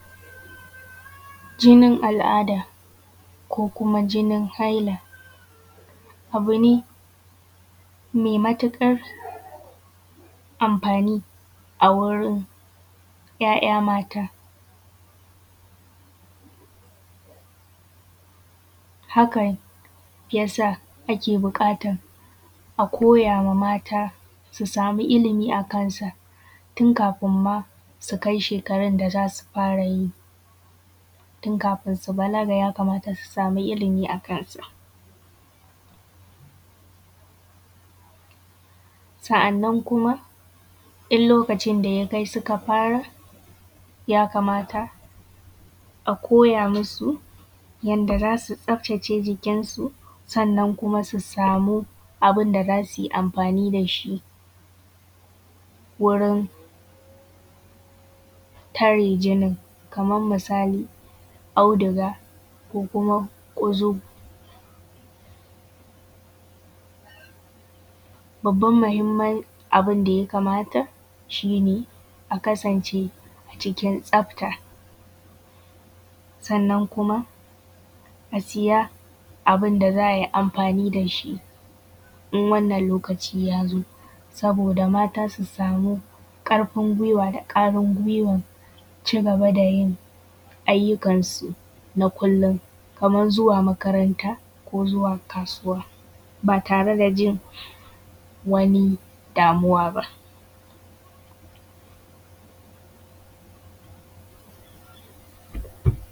Jinin al’ada ko kuma jinin haila, abu ne mai matuƙar amfani a wurin ‘ya’ya mata, hakan yasa ake da buƙatar a koyawa mata su sami ilmi akan sa, tun kafin su kai shekarun da zasu fara yi, tun kafin su balaga, ya kamata su sami ilmi akan sa. Sa’annan kuma in suka fara, ya kamataa koya musu yanda zasu tsaftace jikin su, sannan kuma su samu abunda zasuyi amfani dashi wurin tare jinin, kamar misali auduga ko kuma ƙunzugu. Babban muhimmin abunda ya kamata, shi ne a kasance a cikin tsafta, sannan kuma a siya abunda za ai amfani da shi in wannan lokaci yazo, saboda mata su samu ƙarfin kwuiwan cigaba da yin ayyukan suna kullum, kamar zuwa makaranta ko zuwa kasuwa, ba tare da jin wani damuwa ba.